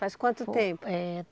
Faz quanto tempo? Eh